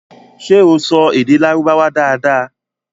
ṣé o sọ èdè Lárúbáwá dára dára?